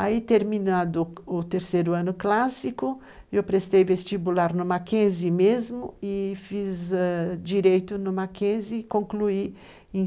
Aí, terminado o terceiro ano clássico, eu prestei vestibular no Mackenzie mesmo e fiz ãh direito no Mackenzie e concluí em,